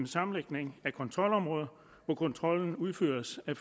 sammenlægning af kontrolområder hvor kontrollen udføres af